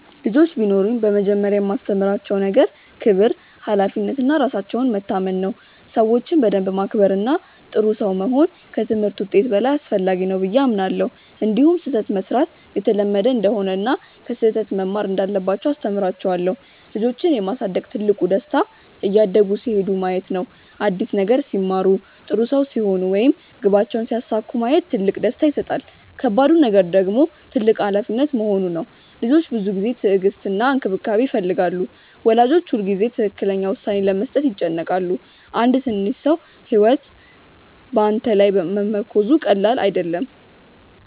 ልጆች ቢኖሩኝ በመጀመሪያ የማስተምራቸው ነገር ክብር፣ ሀላፊነት እና ራሳቸውን መታመን ነው። ሰዎችን በደንብ ማክበር እና ጥሩ ሰው መሆን ከትምህርት ውጤት በላይ አስፈላጊ ነው ብዬ አምናለሁ። እንዲሁም ስህተት መሥራት የተለመደ እንደሆነ እና ከስህተት መማር እንዳለባቸው አስተምራቸዋለሁ። ልጆችን የማሳደግ ትልቁ ደስታ እያደጉ ሲሄዱ ማየት ነው። አዲስ ነገር ሲማሩ፣ ጥሩ ሰው ሲሆኑ ወይም ግባቸውን ሲያሳኩ ማየት ትልቅ ደስታ ይሰጣል። ከባዱ ነገር ደግሞ ትልቅ ሀላፊነት መሆኑ ነው። ልጆች ብዙ ጊዜ፣ ትዕግስት እና እንክብካቤ ይፈልጋሉ። ወላጆች ሁልጊዜ ትክክለኛ ውሳኔ ለመስጠት ይጨነቃሉ። አንድ ትንሽ ሰው ሕይወት በአንተ ላይ መመርኮዙ ቀላል አይደለም።